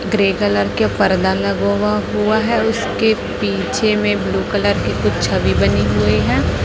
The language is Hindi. ग्रे कलर के पर्दा लगा हुआ है उसके पीछे में ब्लू कलर की कुछ छवि बनी हुई है।